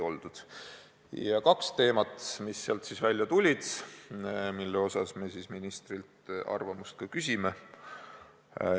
Tuli välja kaks teemat, mille kohta me ministrilt arvamust küsime.